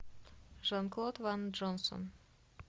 жан клод ван джонсон